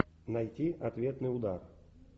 найти ответный удар